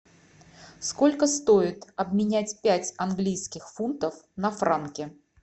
сколько стоит обменять пять английских фунтов на франки